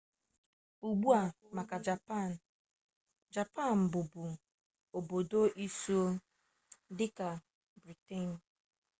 ugbua maka japan japan bụbu obodo isuo dịka briten